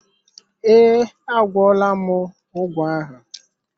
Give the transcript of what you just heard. Ee, a gwọọla m ụgwọ ahụ.